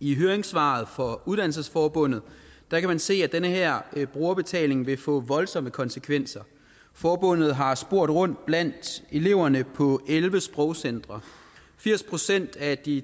i høringssvaret fra uddannelsesforbundet kan man se at den her brugerbetaling vil få voldsomme konsekvenser forbundet har spurgt rundt blandt eleverne på elleve sprogcentre firs procent af de en